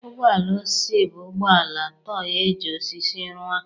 Ụgbọ ala osisi bụ ụgbọ ala tọị eji osisi rụọ.